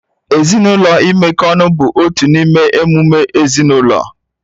Ezinụlọ imekọ ọnụ bụ otu n'ime emume ezinaụlọ